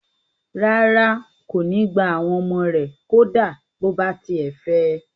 Rárá, kò ní gbà àwọn ọmọ rẹ̀ kó dá bó bá tiẹ̀ fẹ̀ ẹ